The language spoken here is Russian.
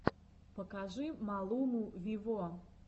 покажи малуму виво